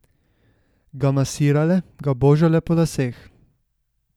Ga masirale, ga božale po laseh.